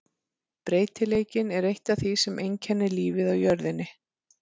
Breytileikinn er eitt af því sem einkennir lífið á jörðinni.